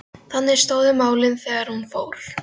Þannig stóðu málin þegar hún fór.